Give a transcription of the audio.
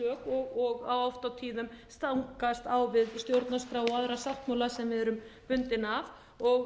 slök og oft á tíðum stangast á við stjórnarskrá og aðra sáttmála sem við erum bundin af og